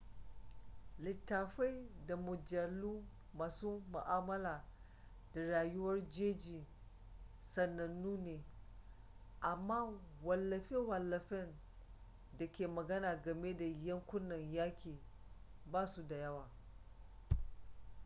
littattafai da mujallu masu ma'amala da rayuwar jeji sanannu ne amma wallafe-wallafen da ke magana game da yankunan yaƙi ba su da yawa